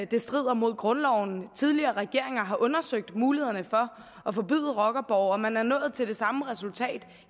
det strider mod grundloven tidligere regeringer har undersøgt mulighederne for at forbyde rockerborge og man er nået til det samme resultat